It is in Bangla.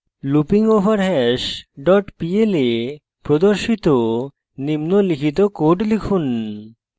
loopingoverhash dot pl এ প্রদর্শিত নিম্নলিখিত code লিখুন: